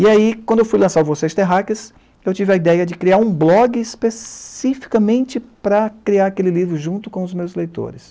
E aí, quando eu fui lançar o Vocês Terráqueas, eu tive a ideia de criar um blog especificamente para criar aquele livro junto com os meus leitores.